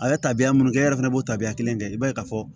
A ye tabiya minnu kɛ e yɛrɛ fana b'o tabiya kelen kɛ i b'a ye ka fɔ